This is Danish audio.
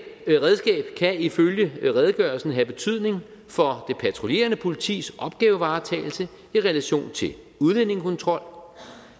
kan ifølge redegørelsen have betydning for det patruljerende politis opgavevaretagelse i relation til udlændingekontrol